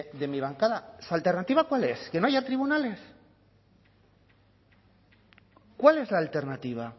de mi bancada su alternativa cuál es que no haya tribunales cuál es la alternativa